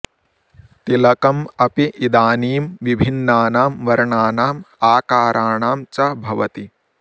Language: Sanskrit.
तिलकम् अपि इदानीं विभिन्नानां वर्णानाम् आकाराणां च भवति